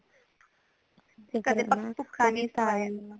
]overlap]